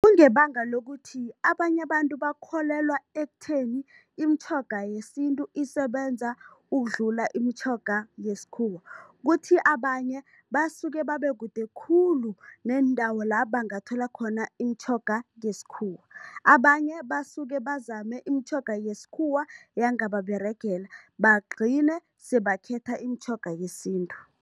Kungebanga lokuthi abanye abantu bakholelwa ekutheni imitjhoga yesintu isebenza ukudlula imitjhoga yesikhuwa, kuthi abanye basuke babe kude khulu neendawo la bangathola khona imitjhoga ngesikhuwa. Abanye basuke bazame imitjhoga yesikhuwa yangababeregela, bagcine sebakhetha imitjhoga yesintu.